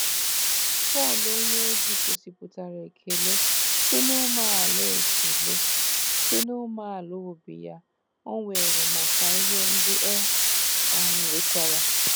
Pọl onyeozi gosipụtara ekele si n'umeala ekele si n'umeala obi ya o nwere maka ihe ndị e um wetara.